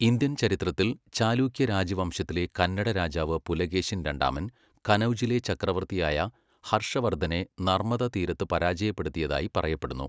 Indian ചരിത്രത്തിൽ, ചാലുക്യ രാജവംശത്തിലെ കന്നഡ രാജാവ് പുലകേശിൻ രണ്ടാമൻ കനൗജിലെ ചക്രവർത്തിയായ ഹർഷവർദ്ധനെ നർമദ തീരത്ത് പരാജയപ്പെടുത്തിയതായി പറയപ്പെടുന്നു.